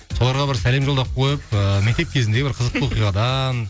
соларға бір сәлем жолдап қойып ыыы мектеп кезіндегі бір қызықты оқиғадан